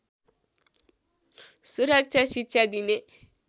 सुरक्षा शिक्षा दिने